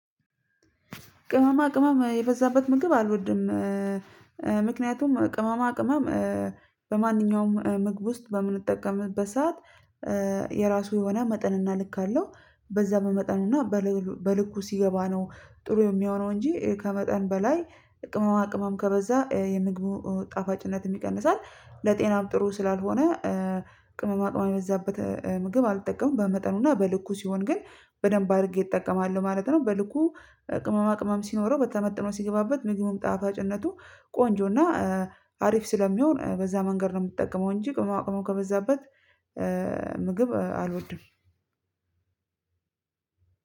ቅመማ ቅመም የበዛበት ምግብ አልወድም። ምክንያቱም ቅመማ ቅመም በማንኛውም ምግብ ውስጥ በምንጠቀምበት ሰዓት የራሱ የሆነ መጠንና ልክ አለው በዛ በመጠን እና በልኩ ሲገባ ነው ጥሩ የሚሆነው እንጂ ከመጠን በላይ ቅመማ ቅመም ከበዛ የምግብ ጣፋጭነት ይቀንሳል ለጤናም ጥሩ ስላልሆነ። ቅመማ ቅመማ የበዛበት ምግብ አልጠቀምም በመጠኑና በልኩ ሲሆን ግን በደንብ አድርጌ እጠቀማለሁ ማለት ነው። በልኩ ቅመማ ቅመም ሲኖረው በተመጠነው ሲገባበት ምግብም ጣፋጭነቱ ቆንጆና አሪፍ ስለሚሆን በዛ መንገድ ነው የምትጠቀመው እንጂ ከማቅመው ከበዛበት። ምግብ አልወድም።